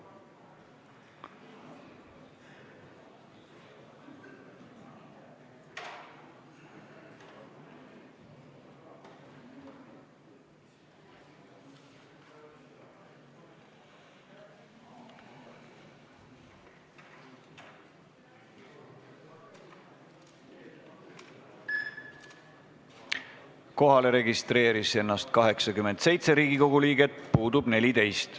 Kohaloleku kontroll Kohalolijaks registreeris ennast 87 Riigikogu liiget, puudub 14.